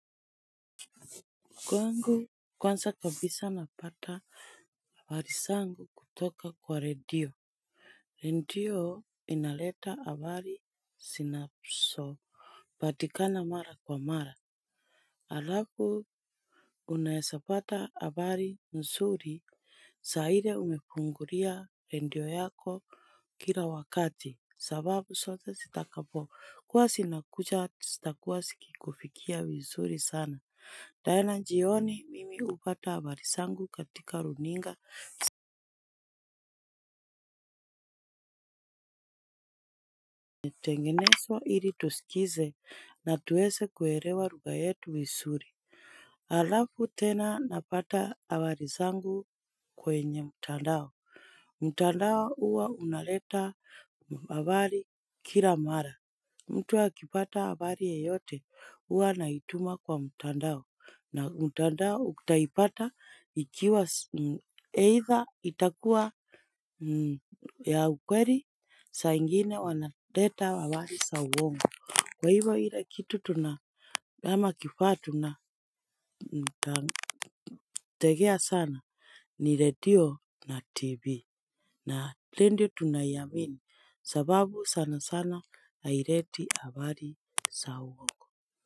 Kwangu kwanza kabisa napata habari zangu kutoka kwa redio. Redio inaleta habari zinazo patikana mara kwa mara. Halafu unaweza pata habari nzuri saa ile umefungulia radio yako kila wakati. Sababu zote zitakapo. Kua zinakuja zitakuwa zikikufikia vizuri sana. Jana jioni mimi hupata habari zangu katika runinga. Tengenezwa ili tusikize na tuweze kuelewa rugha yetu visuri. Halafu tena napata habari zangu kwenye mtandao. Mtandao huwa unaleta habari kila mara. Mtu akipata habari yeyote huwa anaituma kwa mtandao. Na mtandao utaipata ikiwa ni either itakua ya ukweli saa ingine wanaleta habari za uongo. Kwa hivyo ile kitu tuna ama tukiwa tuna tagea sana ni redio na Tv. Na radio tunaiamini sababu sana sana haileti habari a uongo.